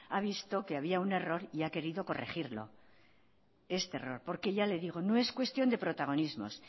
ha visto que había un error y querido corregirlo este error porque ya le digo no es cuestión de protagonismos